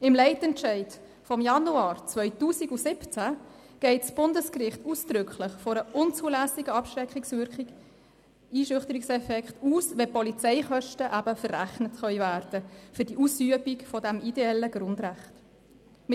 Im Leitentscheid vom Januar 2017 geht das Bundesgericht ausdrücklich von einem unzulässigen Abschreckungseffekt aus, wenn die Polizeikosten für die Ausübung eines ideellen Grundrechts verrechnet werden können.